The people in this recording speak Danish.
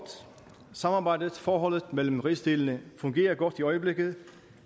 samarbejdet og forholdet mellem rigsdelene fungerer godt i øjeblikket